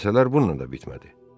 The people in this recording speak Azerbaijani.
Hadisələr bununla da bitmədi.